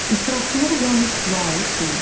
İsrafçılıq yalnız pula aid deyil.